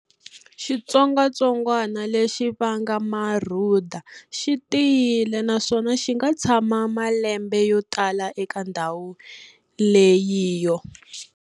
Xitsongatsongwana lexi vanga marhuda xi tiyile naswona xi nga tshama malembe yo tala eka ndhawu leyiyo.